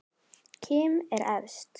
Kim er efst.